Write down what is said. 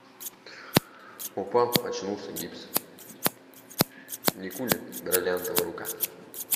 упал очнулся гипс никулин бриллиантовая рука